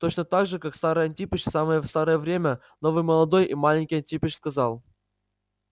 точно так же как старый антипыч в самое старое время новый молодой и маленький антипыч сказал